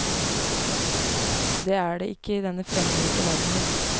Det er det ikke i denne fremmedgjorte verdenen.